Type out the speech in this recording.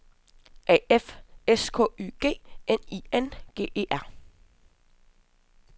A F S K Y G N I N G E R